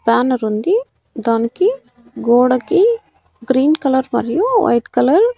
banner ఉంది దానికి గోడకి గ్రీన్ కలర్ మరియు వైట్ కలర్ --